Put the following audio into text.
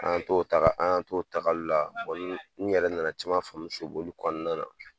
An y'an to tagali la, n yɛrɛ nana caman famuya kɔnɔna na.